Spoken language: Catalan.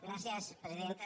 gràcies presidenta